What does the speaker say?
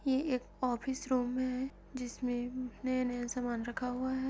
ये एक office room है जिसमें नया नया सामान रखा हुआ है।